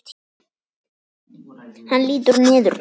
Hann lítur niður til mín.